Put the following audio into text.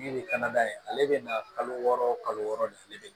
Min kana n'a ye ale bɛ na kalo wɔɔrɔ kalo wɔɔrɔ de ale bɛ